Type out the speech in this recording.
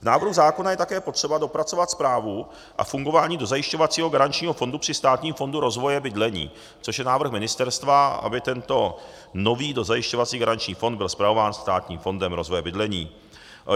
K návrhu zákona je také potřeba dopracovat správu a fungování dozajišťovacího garančního fondu při Státním fondu rozvoje bydlení, což je návrh ministerstva, aby tento nový dozajišťovací garanční fond byl spravován Státním fondem rozvoje bydlení.